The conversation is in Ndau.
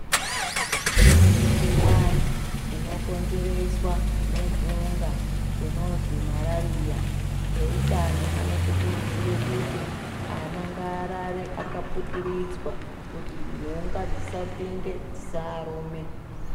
Kune mikuhlani inokonzereswa nenhunga inozi marariya ehutano anotikurudzira kuti ana ngaarare akaputiridzwa kuti nhunga dzisapinde dzisaarume.